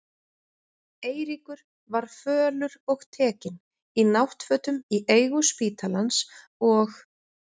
Eiríkur var fölur og tekinn, í náttfötum í eigu spítalans, og